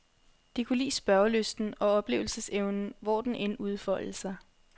De kunne lide spørgelysten og oplevelsesevnen, hvor den end udfoldede sig.